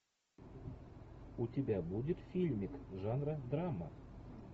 у тебя будет фильмик жанра драма